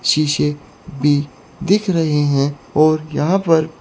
शीशे भी दिख रहे हैं और यहां पर--